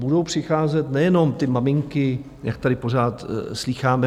Budou přicházet nejenom ty maminky, jak tady pořád slýcháme.